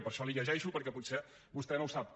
per això l’hi llegeixo perquè potser vostè no ho sap